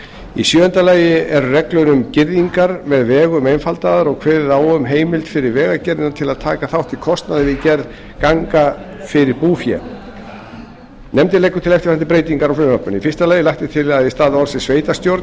í sjöunda lagi eru reglur um girðingar með vegum einfaldaðar og kveðið á um heimild fyrir vegagerðina til að taka þátt í kostnaði við gerð ganga fyrir búfé nefndin leggur til eftirfarandi breytingar á frumvarpinu fyrstu lagt er til að í stað orðsins sveitarstjórn